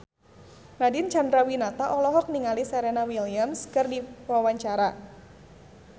Nadine Chandrawinata olohok ningali Serena Williams keur diwawancara